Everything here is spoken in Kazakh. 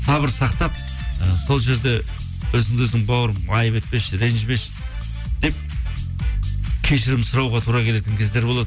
сабыр сақтап і сол жерде өзіңді өзің бауырым айтып етпеші ренжімеші деп кешірім сұрауға тура келетін кездер болады